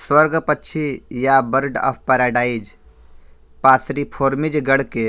स्वर्गपक्षी या bird of paradise Passeriformes गण के